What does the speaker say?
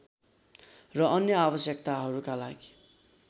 र अन्य आवश्यकताहरूका लागि